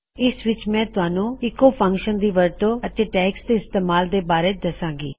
ਇਸ ਵਿੱਚ ਮੈਂ ਤੁਹਾਨੂੰ ਸਿਰਫ ਐੱਕੋ ਫਂਕਸ਼ਨ ਦੀ ਵਰਤੋ ਅਤੇ ਟੈਗਜ਼ ਦੇ ਇਸਤੇਮਾਲ ਦੇ ਬਾਰੇ ਦਸਾਂਗੀ